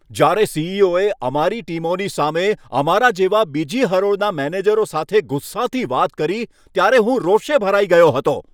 જ્યારે સી.ઈ.ઓ.એ અમારી ટીમોની સામે અમારા જેવા બીજી હરોળના મેનેજરો સાથે ગુસ્સાથી વાત કરી ત્યારે હું રોષે ભરાઈ ગયો હતો.